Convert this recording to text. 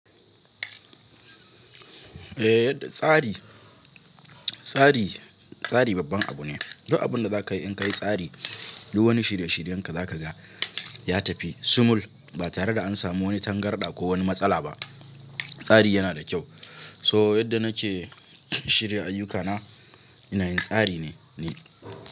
Eh tsari, tsari, tsari babban abu ne. Yau abun da zaka yi in ka yi tsari, duk wani shirye shiryen ka zaka ga ya tafi simul ba tare da an samu wani tangarɗa ko wani matsala ba. Tsari yana da kyau. To yadda nake shirya ayyukana ina yin tsari ne ni.